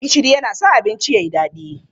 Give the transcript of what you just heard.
Gishiri yana sa abinci ya yi daɗi.